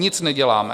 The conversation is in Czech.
Nic neděláme!